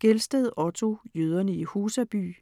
Gelsted, Otto: Jøderne i Husaby